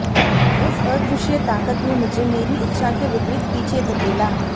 उस अदृश्य ताकत ने मुझे मेरी इच्छा के विपरित पीछे धकेला